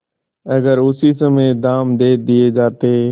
अगर उसी समय दाम दे दिये जाते